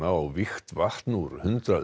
og vígt vatn úr hundrað